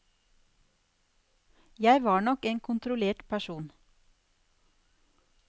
Jeg var nok en kontrollert person.